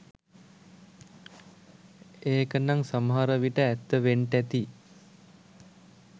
ඒකනං සමහරවිට ඇත්ත වෙන්ටැති